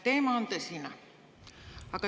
Teema on tõsine.